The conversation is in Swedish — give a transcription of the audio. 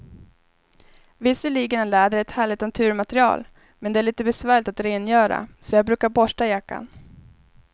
Visserligen är läder ett härligt naturmaterial, men det är lite besvärligt att rengöra, så jag brukar borsta jackan.